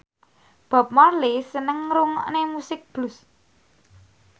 Bob Marley seneng ngrungokne musik blues